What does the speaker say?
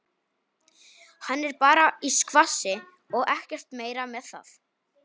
Hann er bara í skvassi og ekkert meira með það.